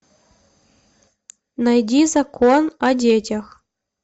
найди закон о детях